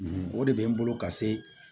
O de bɛ n bolo ka se